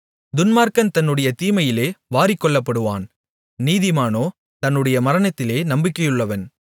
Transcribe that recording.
துன்மார்க்கன் தன்னுடைய தீமையிலே வாரிக்கொள்ளப்படுவான் நீதிமானோ தன்னுடைய மரணத்திலே நம்பிக்கையுள்ளவன்